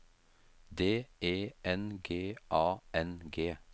D E N G A N G